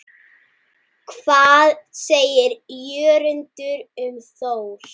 Hvað segir Jörundur um Þór?